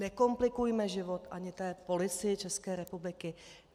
Nekomplikujme život ani té Policii České republiky!